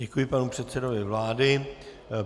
Děkuji panu předsedovi vlády.